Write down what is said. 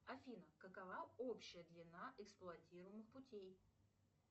афина какова общая длина эксплуатируемых путей